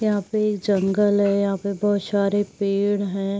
यहाँ पे ये जंगल है। यहाँ पे बहोत शारे पेड़ हैं।